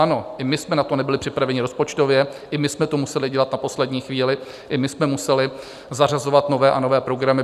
Ano, i my jsme na to nebyli připraveni rozpočtově, i my jsme to museli dělat na poslední chvíli, i my jsme museli zařazovat nové a nové programy.